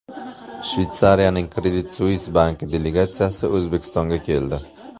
Shveysariyaning Credit Suisse banki delegatsiyasi O‘zbekistonga keldi.